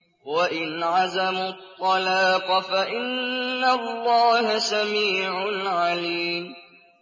وَإِنْ عَزَمُوا الطَّلَاقَ فَإِنَّ اللَّهَ سَمِيعٌ عَلِيمٌ